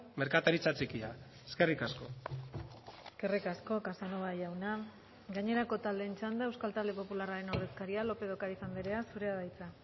merkataritza txikia eskerrik asko eskerrik asko casanova jauna gainerako taldeen txanda euskal talde popularraren ordezkaria lópez de ocariz andrea zurea da hitza